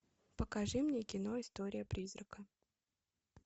покажи мне кино история призрака